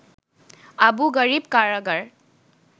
Abu Ghraib Karagar